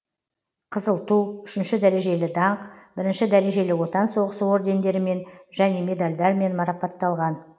қызыл ту үшінші дәрежелі даңқ бірінші дәрежелі отан соғысы ордендерімен және медальдармен марапатталған